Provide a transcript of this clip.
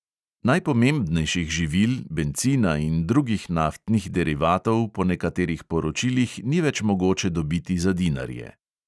Najpomembnejših živil, bencina in drugih naftnih derivatov po nekaterih poročilih ni več mogoče dobiti za dinarje.